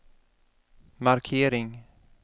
markering